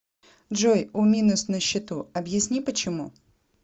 джой у минус на счету объясни почему